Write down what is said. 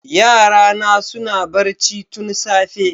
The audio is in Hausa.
Yarana suna barci tun safe